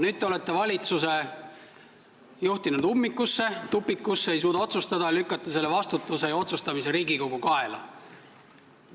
Nüüd te olete valitsuse juhtinud ummikusse, tupikusse, te ei suuda otsustada ning lükkate vastutuse ja otsustamise Riigikogu kaela.